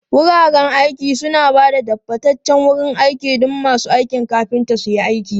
Wuraren aiki suna ba da tabbataccen wurin aiki don masu aikin kafinta su yi aiki.